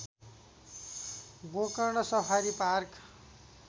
Gokarna safari park